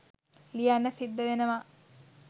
ලියන්න සිද්ද වෙනව